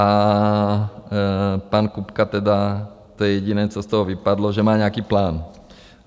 A pan Kupka tedy, to je jediné, co z toho vypadlo, že má nějaký plán.